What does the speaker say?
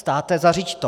Státe, zařiď to.